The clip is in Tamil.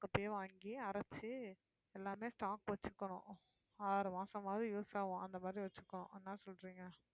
அப்படியே வாங்கி அரைச்சு எல்லாமே stock வச்சுக்கணும் ஆறு மாசமாவது use ஆகும் அந்த மாதிரி வச்சுக்கணும் என்ன சொல்றீங்க